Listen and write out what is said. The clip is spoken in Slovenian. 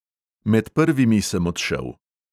Med prvimi sem odšel.